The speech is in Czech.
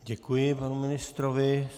Děkuji panu ministrovi.